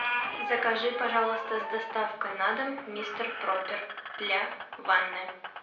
закажи пожалуйста с доставкой на дом мистер пропер для ванны